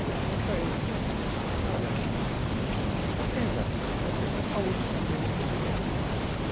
Aí eu pedi para ele, falei, olha, eu tenho minha vida, eu tenho minha saúde, eu tenho meu entendimento.